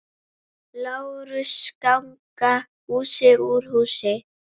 LÁRUS: Ganga hús úr húsi!